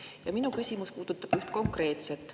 Ja minu küsimus puudutab üht konkreetset.